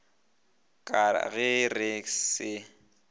ka ge re ka se